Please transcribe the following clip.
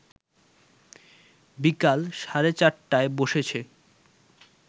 বিকাল সাড়ে ৪টায় বসেছে